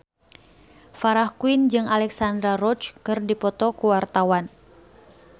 Farah Quinn jeung Alexandra Roach keur dipoto ku wartawan